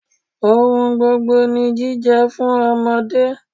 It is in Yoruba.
Ohun gbogbo ni jíjẹ fún ọmọdé.